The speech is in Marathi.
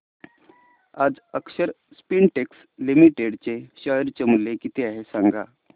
आज अक्षर स्पिनटेक्स लिमिटेड चे शेअर मूल्य किती आहे सांगा